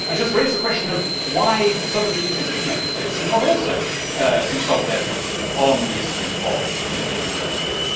I just raise the question of why some of the existing Member States should not also consult their people on the issue of continued membership.